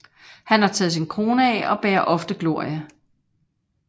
Han har taget sin krone af og bærer ofte glorie